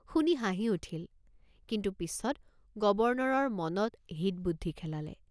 শুনি হাঁহি উঠিল কিন্তু পিচত গৱৰ্ণৰৰ মনত হিত বুদ্ধি খেলালে।